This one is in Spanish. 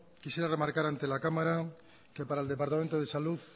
quisiera remarcar antes la cámara que para el departamento de salud